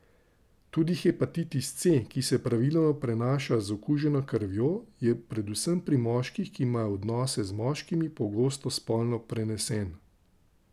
Tudi hepatitis C, ki se praviloma prenaša z okuženo krvjo, je predvsem pri moških, ki imajo odnose z moškimi, pogosto spolno prenesen.